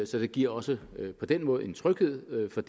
så det giver også på den måde en tryghed for